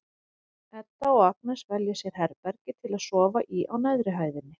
Edda og Agnes velja sér herbergi til að sofa í á neðri hæðinni.